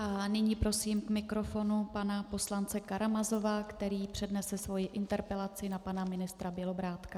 A nyní prosím k mikrofonu pana poslance Karamazova, který přednese svoji interpelaci na pana ministra Bělobrádka.